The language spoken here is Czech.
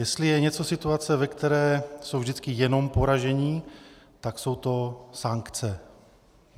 Jestli je nějaká situace, ve které jsou vždycky jenom poražení, tak jsou to sankce.